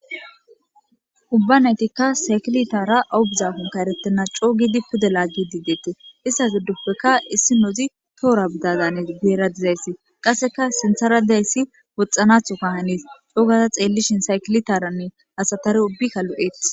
ubbanaytikka sakilitara aubizafonka erettena coogidi pude laaggidi deete issas dudduppekka issi nozi toora bidazanes guera dizayssi qasseka sintharadeyssi woxxanatho ka haniis coogaza xeellishin saykilitaranne asatare ubbikka lu7eth